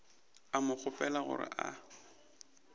a mo kgopela gore a